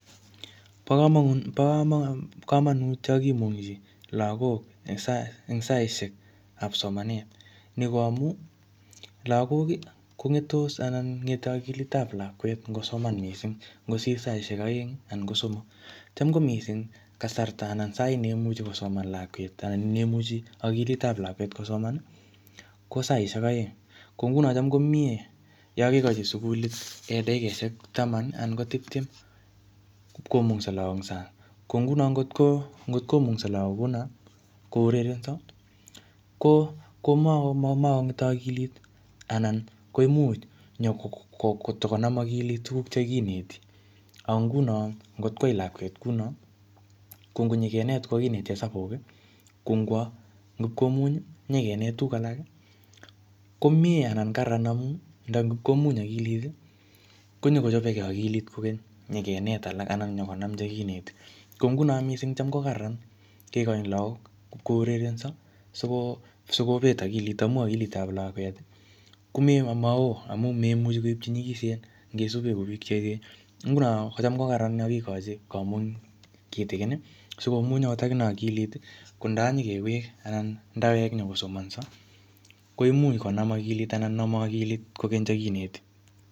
Bokomonut yokimunkyin lagok en saaishekab somanet ngamun ii lagok ii kongetos anan ngete okilitab lakwet ngosoman mising ngosir saaishek oeng anan kosomok tam komising kasarta anan saait neimuche kosoman lakwet anan sait nemuche kosoman lakwet anan neimuch okilitab lakwet kosomani kosaishek oeng ko ngunon Cham komie yokekochi sugulit dakikoshek tamani anan ko tiptem komungso en sang ko ngunon ngot komungso lagok kounon kurerenso komongete okilit anan koimuch nyo kotakonam okilit tuguk chekineti ang ngunon angot koyai lakwet kounoni kongot kokineti hesabuki kongwo ipkomunyi nyokinet tuguk alaki komie anan kararan amuny ngap komuny okiliti konyokochopeke okilit kokeny nyokenet alak konyokonam alak chekineti ko ngunon kocham kokararan kikochi lagok kurerenso sikopet okilit amun okilit ab lakwet komoo amun memuchi koip chenyikisen ngisupen kou biik cheechen ngunon Cham kokaran yokikochi komuny kitikini sikomuny akine okilit Kondo nyokewek ndawek konyo kosomnso komuch konamokilit anan Nome okilit chekineti